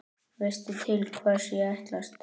Veistu til hvers ég ætlast?